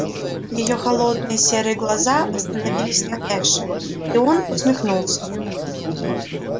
её холодные серые глаза остановились на эше и он усмехнулся